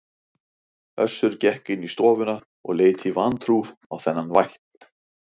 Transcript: Össur gekk inn í stofuna og leit í vantrú á þennan vætt.